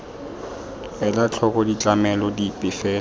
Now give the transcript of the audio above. ela tlhoko ditlamelo dipe fela